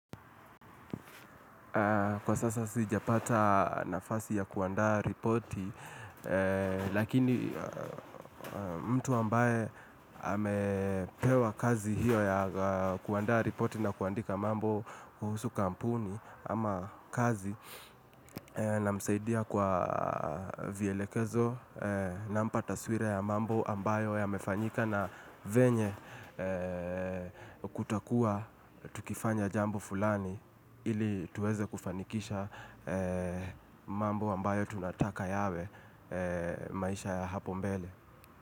Kwa sasa sijapata nafasi ya kuandaa ripoti, lakini mtu ambaye amepewa kazi hiyo ya kuandaa ripoti na kuandika mambo kuhusu kampuni ama kazi namsaidia kwa vielekezo nampa taswira ya mambo ambayo yamefanyika na vyenye kutakua tukifanya jambo fulani ili tuweze kufanikisha mambo ambayo tunataka yawe maisha ya hapo mbele.